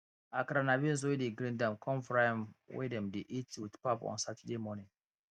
akara na beans wey dey grind con fry am wey dem dey eat with pap on saturday morning